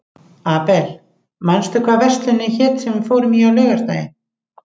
Abel, manstu hvað verslunin hét sem við fórum í á laugardaginn?